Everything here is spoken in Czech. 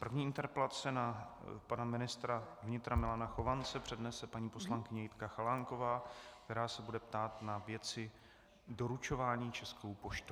První interpelace na pana ministra vnitra Milana Chovance přednese paní poslankyně Jitka Chalánková, která se bude ptát na věci doručování Českou poštou.